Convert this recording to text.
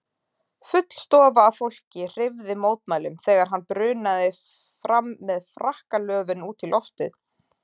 Full stofa af fólki hreyfði mótmælum þegar hann brunaði fram með frakkalöfin út í loftið.